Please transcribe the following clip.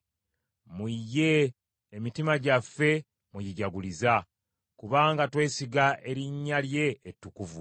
Mu ye emitima gyaffe mwe gijaguliza, kubanga twesiga erinnya lye ettukuvu.